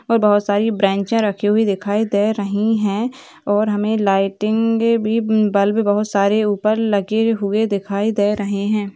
और बहुत सारी बेन्चे रखी हुई दिखाई दे रही है और हमे लाईटिंगे भी बल्ब बहुत सारे ऊपर लगे हुए दिखाई दे रहे है।